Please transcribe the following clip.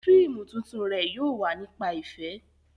Fíìmù tuntun rẹ̀ yóò wà nípa ìfẹ́